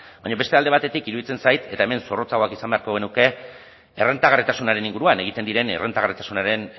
baina beste alde batetik iruditzen zait eta hemen zorrotzagoak izan beharko genuke errentagarritasunaren inguruan egiten diren errentagarritasunaren